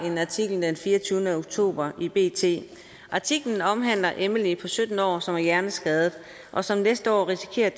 en artikel den treogtyvende oktober i bt artiklen omhandler emily på sytten år som er hjerneskadet og som næste år risikerer at